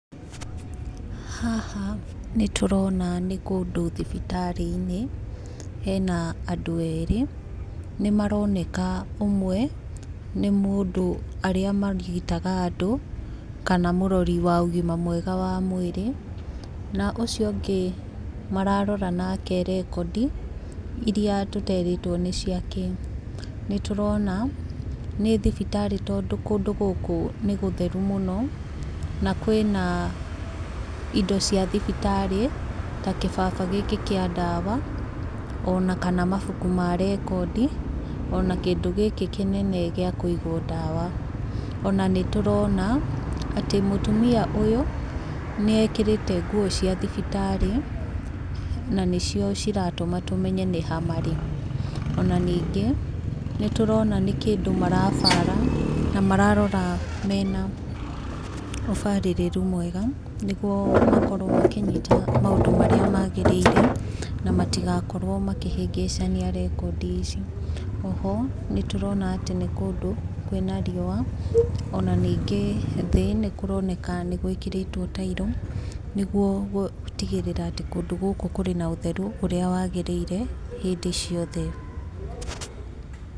Haha nĩ tũrona nĩ kũndũ thibitarĩ-inĩ hena andũ erĩ nĩ maroneka ũmwe nĩ mũndũ arĩa marigitaga andũ kana mũrori wa ũgima mwega wa mwĩrĩ na ũcio ũngĩ mararora nake rekondi iria tũterĩtwo nĩ cia kĩĩ. Nĩ tũrona nĩ thibitarĩ tondũ kũndũ gũkũ nĩ gũtherũ mũno na kwĩna ĩndo cia thibitarĩ ta gĩbaba gĩkĩ kĩa ndawa ona kana mabũku ma rekondi ona kĩndũ gĩkĩ kĩnene gĩa kũigwo ndawa ona nĩ tũrona atĩ mũtũmĩa ũyũ nĩ ekĩrĩte ngũo cia thibitarĩ na nĩcio ciratũma tũmenye nĩ ha marĩ. Ona nĩngĩ nĩ tũrona nĩ kĩndũ marabaara na mararora meena ũbarĩrĩrũ mwega nĩgũo makorwo makĩnyĩta maũndu marĩa magĩrĩire na matigakorwo makĩhĩngĩicania rekondi ici. Oho nĩ tũrona atĩ nĩ kũndũ kwĩna riũa ona nĩngĩ thĩĩ nĩ kũroneka gwĩkĩrĩtwo tairo nĩgũo gũtĩgĩrĩra atĩ kũndũ kũũ gũkũ kũrĩ na ũtherũ ũrĩa wagĩrĩire hĩndĩ ciothe.